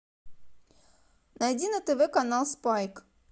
найди на тв канал спайк